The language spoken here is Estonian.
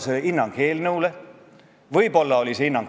Sellest teemast on võimalik üles kiskuda väga võimas vastandus: sund ja headus.